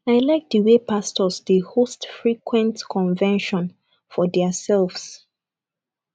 i like the wey pastors dey host frequent convention for their selves